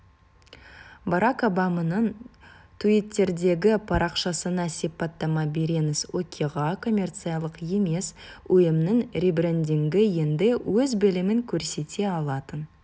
барак обаманың туиттердегі парақшасына сипаттама беріңіз оқиға коммерциялық емес ұйымның ребрендингі енді өз білімін көрсете алатын